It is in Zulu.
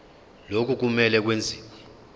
lokhu kumele kwenziwe